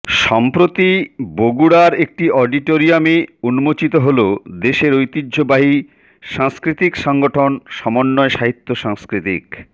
সম্প্রতি বগুড়ার একটি অডিটোরিয়ামে উন্মোচিত হল দেশের ঐতিহ্যবাহী সাংস্কৃতিক সাংগঠন সমন্বয় সাহিত্য সাংস্কৃতিক